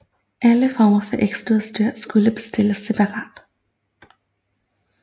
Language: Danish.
Alle former for ekstraudstyr skulle bestilles separat